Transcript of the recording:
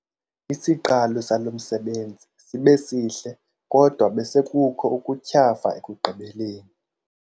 Isiqalo salo msebenzi sibe sihle kodwa besekukho ukutyhafa ekugqibeleni.